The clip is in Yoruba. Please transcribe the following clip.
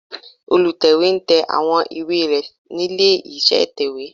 Olùtẹ̀wé ń tẹ àwọn ìwé rẹ̀ nílé iṣẹ́ ìtẹ̀wé